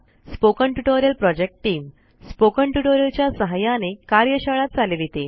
spoken tutorial project team spoken tutorial च्या सहाय्याने कार्यशाळा चालविते